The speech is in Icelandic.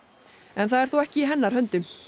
en það er þó ekki í hennar höndum